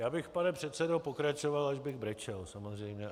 Já bych, pane předsedo, pokračoval, až bych brečel, samozřejmě.